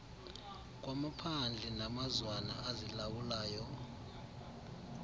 kwamaphandle namazwana azilawulayo